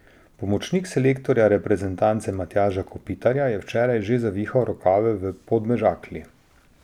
Pomočnik selektorja reprezentance Matjaža Kopitarja je včeraj že zavihal rokave v Podmežakli.